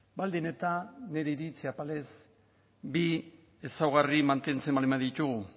baldin eta nire iritzi apalez bi ezaugarri mantentzen baldin baditugu